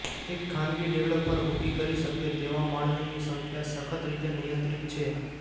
એક ખાનગી ડેવલપર ઊભી કરી શકે તેવા માળની સંખ્યા સખત રીતે નિયંત્રિત છે